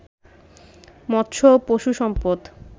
মৎস্য ও পশুসম্পদ